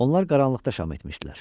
Onlar qaranlıqda şam etmişdilər.